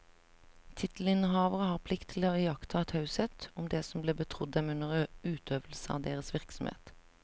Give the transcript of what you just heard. Tittelinnehavere har plikt til å iaktta taushet om det som blir betrodd dem under utøvelse av deres virksomhet.